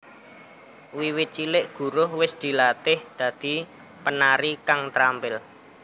Wiwit cilik Guruh wis dilatih dadi penari kang trampil